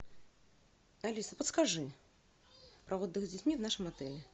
алиса подскажи про отдых с детьми в нашем отеле